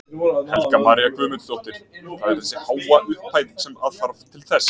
Helga María Guðmundsdóttir: Það er þessi háa upphæð sem að þarf til þess?